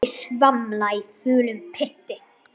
Ég svamla í fúlum pytti.